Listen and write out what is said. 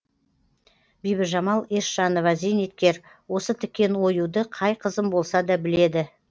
бибіжамал есжанова зейнеткер осы тіккен оюды қай қызым болса да біледі